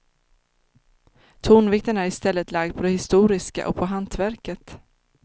Tonvikten är i stället lagd på det historiska och på hantverket.